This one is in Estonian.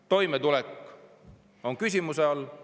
Toimetulek on paljudel inimestel küsimuse all.